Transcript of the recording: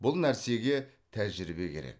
бұл нәрсеге тәжірибе керек